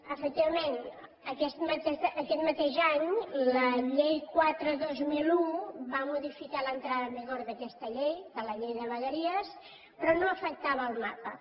efectivament aquest mateix any la llei quatre dos mil un va modificar l’entrada en vigor d’aquesta llei de la llei de vegueries però no afectava el mapa